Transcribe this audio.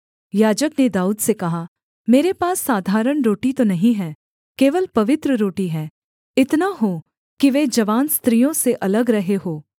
याजक ने दाऊद से कहा मेरे पास साधारण रोटी तो नहीं है केवल पवित्र रोटी है इतना हो कि वे जवान स्त्रियों से अलग रहे हों